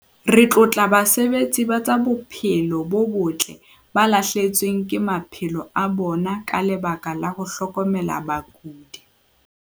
Re tlotla basebetsi ba tsa bophelo bo botle ba lahlehetsweng ke maphelo a bona ka lebaka la ho hlokomela bakudi.